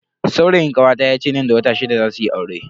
Saurayin kawata yace nan da wata shida zasu yi aure.